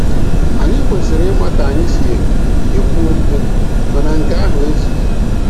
Anyị kwesịrị ịma ka anyị si ekwu okwu, mana nke ahụ ezughị.